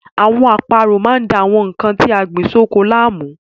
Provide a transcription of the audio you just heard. Àwọn àparò máa ń da àwọn nnkan tí a gbìn sóko láàmú.